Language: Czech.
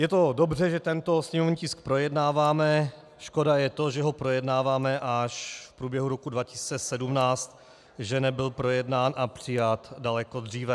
Je to dobře, že tento sněmovní tisk projednáváme, škoda je to, že ho projednáváme až v průběhu roku 2017, že nebyl projednán a přijat daleko dříve.